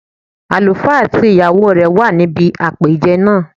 Àlùfá àti ìyàwó rẹ̀ wà níbi àpèjẹ náà